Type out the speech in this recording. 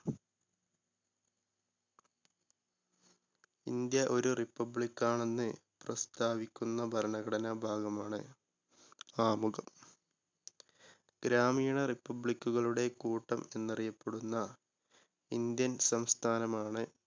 India ഒരു republic ണെന്ന് പ്രസ്താവിക്കുന്ന ഭരണഘടനാ ഭാഗമാണ് ആമുഖം. ഗ്രാമീണ republic കളുടെ കൂട്ടം എന്നറിയപ്പെടുന്ന ഇന്ത്യൻ സംസ്ഥാനമാണ്